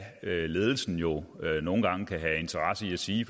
ledelsen jo nogle gange kan have interesse i at sige